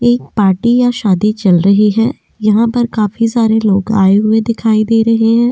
एक पार्टी या शादी चल रही है यहाँ पर खाफी सारे लोग आए दिखाई दे रहे है या।